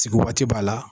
Sigi waati b'a la